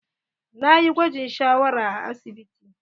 Na yi gwajin shawara a asibiti.